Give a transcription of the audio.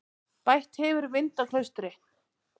Bætt hefur í vind á Klaustri